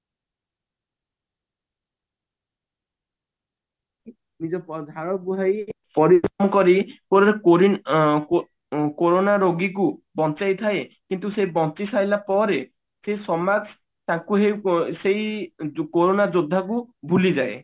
ନିଜ ଝାଳ ବୁହାଇ ପରିଶ୍ରମ କରି କୋରୋନା ରୋଗୀ କୁ ବଞ୍ଚାଇ ଥାଏ କିନ୍ତୁ ସେ ବଞ୍ଚି ସାରିଲା ପରେ ସେ ସମାଜ ତାକୁ ହିଁ ସେଇ ଯୋ କୋରୋନା ଯୋଦ୍ଧା କୁ ଭୁଲି ଯାଏ